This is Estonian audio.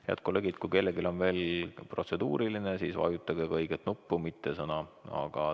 Head kolleegid, kui kellelgi on veel protseduuriline küsimus, siis vajutage õiget nuppu, mitte sõna.